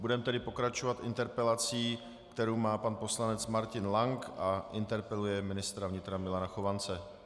Budeme tedy pokračovat interpelací, kterou má pan poslanec Martin Lank, a interpeluje ministra vnitra Milana Chovance.